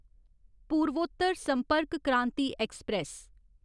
पूर्वोत्तर संपर्क क्रांति ऐक्सप्रैस